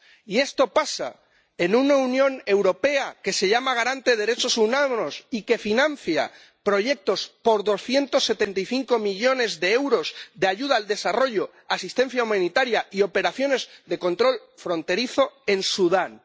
Y esto pasa con una Unión Europea que se dice garante de los derechos humanos y que financia proyectos por 275 millones de euros de ayuda al desarrollo, asistencia humanitaria y operaciones de control fronterizo en Sudán.